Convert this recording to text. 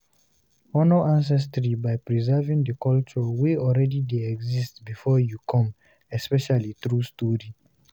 Honor ancestry by preserving the culture wey already de exist before you come especially through story